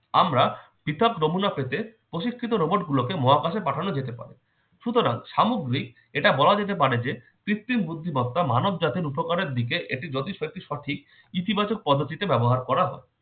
আমরা হিসাব নমুনা পেতে প্রশিক্ষিত robot গুলোকে মহাকাশে পাঠানো যেতে পারে। সুতরাং সামগ্রীক এটা বলা যেতে পারে যে কৃত্রিম বুদ্ধিমত্তা মানবজাতির উপকারের দিকে এটি জোতিষব্যাপী সঠিক ইতিবাচক পদ্ধতিতে ব্যবহার করা হয়।